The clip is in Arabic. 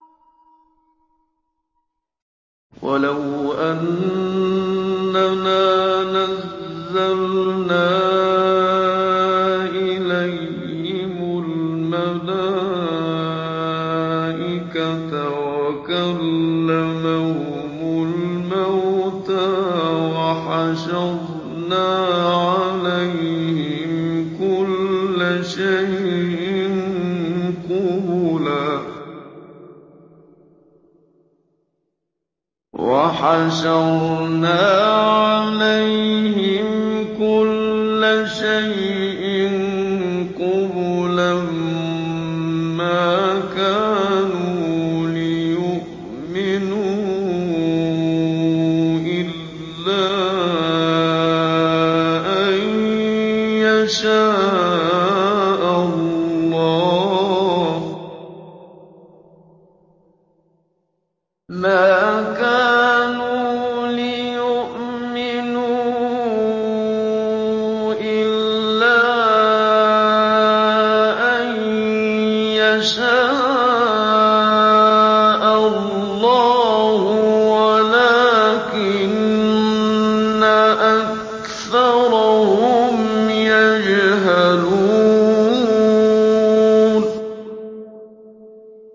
۞ وَلَوْ أَنَّنَا نَزَّلْنَا إِلَيْهِمُ الْمَلَائِكَةَ وَكَلَّمَهُمُ الْمَوْتَىٰ وَحَشَرْنَا عَلَيْهِمْ كُلَّ شَيْءٍ قُبُلًا مَّا كَانُوا لِيُؤْمِنُوا إِلَّا أَن يَشَاءَ اللَّهُ وَلَٰكِنَّ أَكْثَرَهُمْ يَجْهَلُونَ